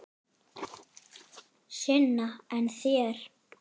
Sunna: En þér?